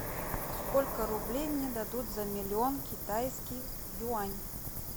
сколько рублей мне дадут за миллион китайских юань